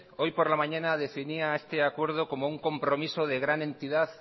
hoy por la mañana definía este acuerdo como un compromiso de gran entidad